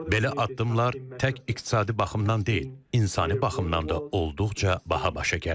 Belə addımlar tək iqtisadi baxımdan deyil, insani baxımdan da olduqca baha başa gəlir.